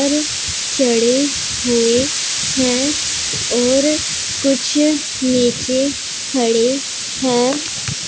ऊपर चढ़े हुए हैं और कुछ नीचे खड़े हैं।